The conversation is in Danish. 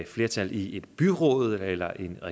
flertal i et byråd eller